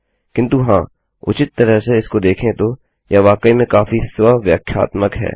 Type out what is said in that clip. किन्तु हाँ उचित तरह से इसको देखें तो यह वाकई में काफी स्व व्याख्यात्मक है